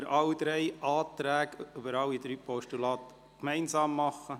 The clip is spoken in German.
Wir können über alle drei Postulate gemeinsam abstimmen.